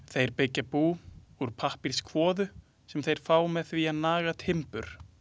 Þeir byggja bú úr pappírskvoðu sem þeir fá með því að naga timbur.